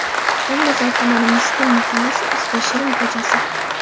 Olmazor tumani: Miskin mahallasi, Usta Shirin ko‘chasi.